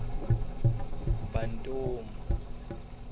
bantomu